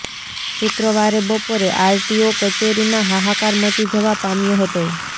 શુક્રવારે બપોરે આરટીઓ કચેરીમાં હાહાકાર મચી જવા પામ્યો હતો